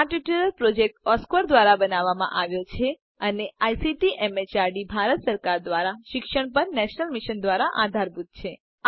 આ tutorial project Oscar ધ્વારા બનાવવામાં આવ્યો છે અને આઇસીટી એમએચઆરડી ભારત સરકાર દ્વારા શિક્ષણ પર નેશનલ મિશન દ્વારા આધારભૂત છે